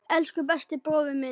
Elsku besti brói minn.